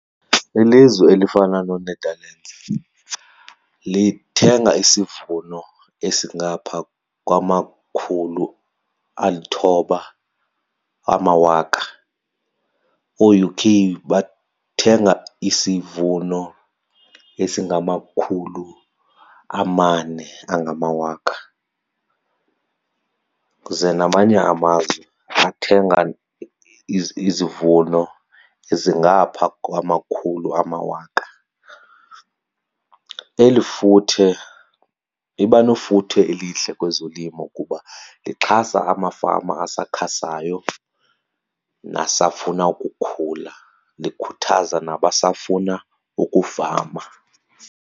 Ilizwe elifana nooNetherlands lithenga isivuno esingapha kwamakhulu alithoba amawaka. OoUK bathenga isivuno esingamakhulu amane angamawaka, ze namanye amazwe athenga izivuno ezingapha kwamakhulu amawaka. Eli futhe liba nefuthe elihle kwezolimo kuba lixhasa amafama asakhasayo nasafuna ukukhula, likhuthaza nabasafuna ukufama.